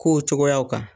Kow cogoyaw kan